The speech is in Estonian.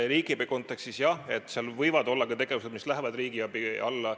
Riigiabi kontekstis: jah, võivad olla ka tegevused, mis lähevad riigiabi alla.